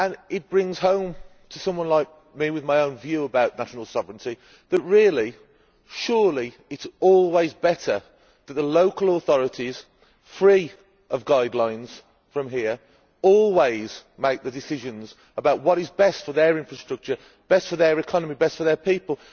It brings home to someone like me, with my own view about national sovereignty, that really, surely, it is always better for the local authorities, free of guidelines from here, always to make the decisions about what is best for their infrastructure, best for their economy and best for their people.